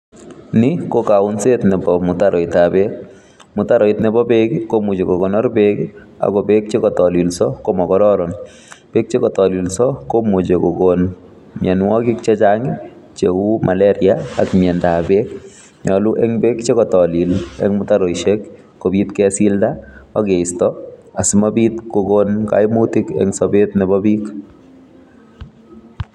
Ni ko kaunset nebo mutaroit ab beek, mutaroitab beek komuche kokonoor beek che kotololsii komokorooron, beek chekotolillsoo komuche kokoon mionwogiik chechang cheu malaria ak miondab beek. Nyolu ko beek en mutaroisiek ko nyolu kesildaa ak keistoo asimabiiit kokoon koimutik en sober nebo biiik